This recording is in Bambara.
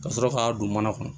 Ka sɔrɔ k'a don mana kɔnɔ